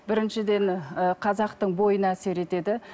біріншіден ы қазақтың бойына әсер етеді